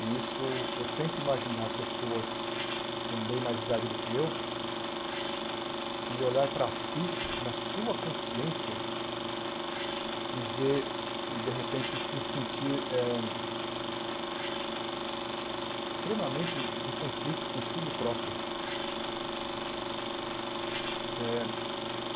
E isso, eu tento imaginar pessoas com bem mais idade do que eu, e olhar para si, na sua consciência, e ver e de repente se sentir eh extremamente em conflito consigo próprio.